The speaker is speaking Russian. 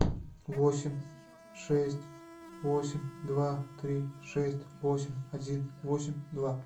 восемь шесть восемь два три шесть восемь один восемь два